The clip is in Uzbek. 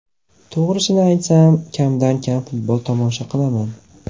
To‘g‘risini aytsam, kamdan kam futbol tomosha qilaman.